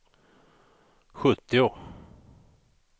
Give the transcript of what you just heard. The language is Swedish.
sjuttio